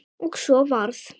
Og svo varð.